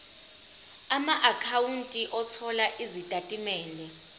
amaakhawunti othola izitatimende